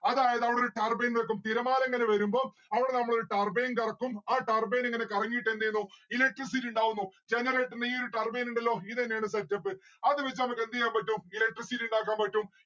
അതായത് അവിടെ ഒരു turbine വെക്കും. തിരമാല ഇങ്ങനെ വരുമ്പം അവിടെ നമ്മളൊരു turbine കറക്കും. ആ turbine ഇങ്ങനെ കറങ്ങിയിട്ട് എന്തെയ്യുന്നു electricity ഇണ്ടാവുന്നു. generator ന്റെ ഈ ഒരു turbine ഇണ്ടല്ലോ. ഇതെന്നെയാണ് setup അത് വച്ചിട്ട് നമ്മുക്ക് എന്ത്ചെയ്യാൻ പറ്റും electricity ഇണ്ടാക്കാൻ പറ്റും